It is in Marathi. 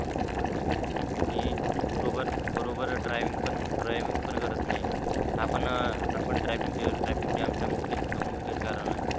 आणि बरोबर बरोबर driving driving पण करत नाही हा हापण traffic jam चा मुख्यच मुख्यच कारण आहे.